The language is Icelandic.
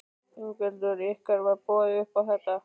Ingveldur: Ykkur var boðið upp á þetta?